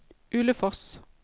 Ulefoss